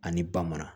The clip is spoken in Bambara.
Ani ba mana